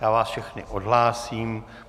Já vás všechny odhlásím.